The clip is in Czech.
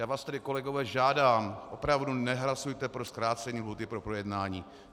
Já vás tedy, kolegové, žádám, opravdu nehlasujte pro zkrácení lhůty pro projednání.